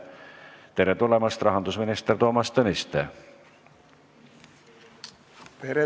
Tere tulemast, rahandusminister Toomas Tõniste!